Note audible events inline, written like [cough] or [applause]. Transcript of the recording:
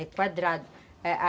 É quadrado [unintelligible]